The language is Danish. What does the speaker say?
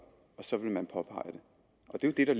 og så vil man påpege det og det er jo det